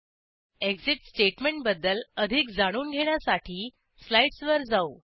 exit statement बद्दल अधिक जाणून घेण्यासाठी स्लाईडसवर जाऊ